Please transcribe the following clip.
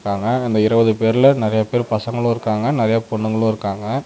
ஆனா அந்த இருபது பேர்ல நெறைய பேர் பசங்களு இருக்காங்க நெறைய பொண்ணுங்களு இருக்காங்க.